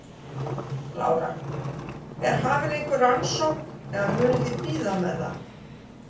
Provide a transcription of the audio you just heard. Lára: Er hafin einhver rannsókn eða munuð þið bíða með það?